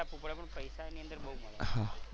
ધ્યાન રાખવું પડે પણ પૈસા એની અંદર બહુ મળે.